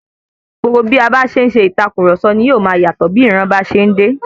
Gbogbo bí a ṣe ń ṣe ìtàkurọ̀sọ ní yóò máa yatọ bẹ ìran bá ṣe ń dé.